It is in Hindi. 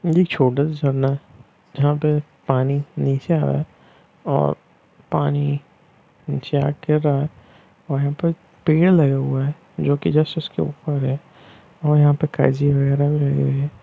ये एक छोटा सा झरना है जहाँ पे पानी नीचे आ रहा है और पानी नीचे आ के गिर रहा है और यहाँ पे पेड़ लगे हुए हैं जो की जस्ट उसके उपर है और यहाँ पे काई जी वगैरा भी है।